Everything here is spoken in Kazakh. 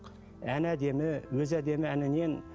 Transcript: әні әдемі өзі әдемі әнінен